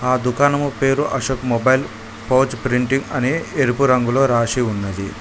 ఆ దుకాణం పేరు అశోక్ మొబైల్ పౌచ్ ప్రింటింగ్ అనే ఎరుపు రంగులో రాసి ఉన్నది.